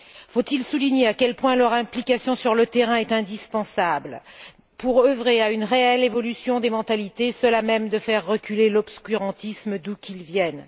Faut il souligner à quel point leur implication sur le terrain est indispensable pour œuvrer à une réelle évolution des mentalités, seule à même de faire reculer l'obscurantisme, d'où qu'il vienne?